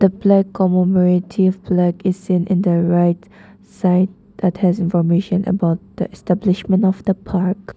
The black commemorative is seen in the right side that has information about establishment of the park.